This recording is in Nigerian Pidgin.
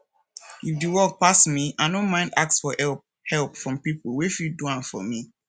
if di work pass me i no mind ask for help help from pipo wey fit do am for me